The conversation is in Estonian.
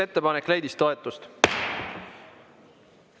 Ettepanek leidis toetust.